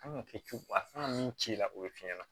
An kan ka kɛ cogo a kan min ci la o ye f'i ɲɛna